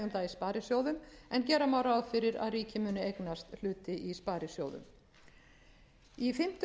sparisjóðum en gera má ráð fyrir að ríkið muni eignast hluti í sparisjóðum í fimmtu